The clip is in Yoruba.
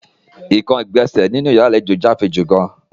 Ekan igbonse ninu yara alejo jẹ afinju gaan.